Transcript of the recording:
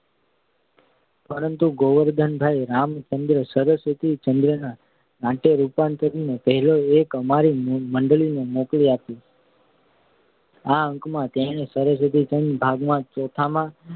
પરંતુ કેટલાક સમય પછી ગોવર્ધનરામભાઈએ સરસ્વતીચંદ્રના નાટ્યરૂપાંતરનો પહેલો અંક અમારી મંડળીને મોકલી આપ્યો. આ અંકમાં તેમણે સરસ્વતીચંદ્ર ભાગ ચોથામાં